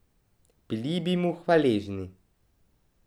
Bili bi mu hvaležni.